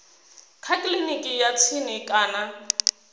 kha kiliniki ya tsini kana